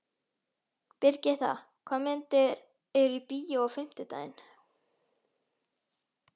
Brigitta, hvaða myndir eru í bíó á fimmtudaginn?